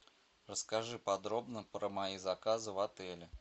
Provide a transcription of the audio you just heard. расскажи подробно про мои заказы в отеле